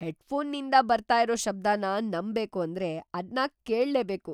ಹೆಡ್‌ಫೋನ್‌ನಿಂದ್ ಬರ್ತಾ ಇರೋ ಶಬ್ದನ ನಂಬ್‌ಬೇಕು ಅಂದ್ರೆ ಅದ್ನ ಕೇಳ್ಲೇಬೇಕು!